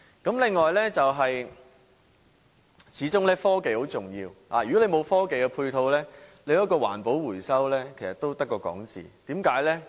此外，科技始終很重要，如果沒有科技的配套，環保回收也只是空談。